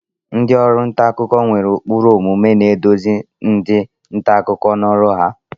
Ndị ọrụ nta akụkọ nwere ụkpụrụ omume na-eduzi ndị nta akụkọ n'ọrụ ha.